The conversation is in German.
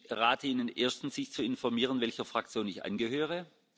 Ich rate Ihnen erstens, sich zu informieren, welcher Fraktion ich angehöre.